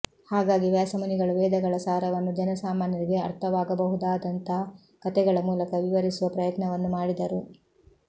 ಹಾಗಾಗಿ ವ್ಯಾಸಮುನಿಗಳು ವೇದಗಳ ಸಾರವನ್ನು ಜನಸಾಮಾನ್ಯರಿಗೆ ಅರ್ಥವಾಗಬಹುದಾದಂಥ ಕಥೆಗಳ ಮೂಲಕ ವಿವರಿಸುವ ಪ್ರಯತ್ನವನ್ನು ಮಾಡಿದರು